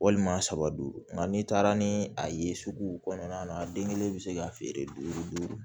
Walima saba don nka n'i taara ni a ye sugu kɔnɔna na a den kelen bɛ se ka feere duuru